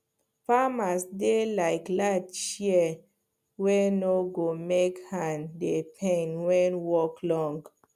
farmers dey like light shear wey no go make hand dey pain when work long